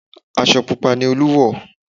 Aṣọ pupa ni Olú wọ̀